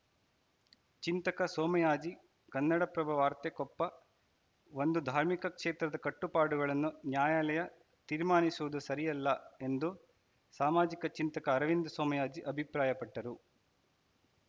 ಚಿಂತಕ ಸೋಮಯಾಜಿ ಕನ್ನಡಪ್ರಭ ವಾರ್ತೆ ಕೊಪ್ಪ ಒಂದು ಧಾರ್ಮಿಕ ಕ್ಷೇತ್ರದ ಕಟ್ಟುಪಾಡುಗಳನ್ನು ನ್ಯಾಯಾಲಯ ತೀರ್ಮಾನಿಸುವುದು ಸರಿಯಲ್ಲ ಎಂದು ಸಾಮಾಜಿಕ ಚಿಂತಕ ಅರವಿಂದ ಸೋಮಯಾಜಿ ಅಭಿಪ್ರಾಯಪಟ್ಟರು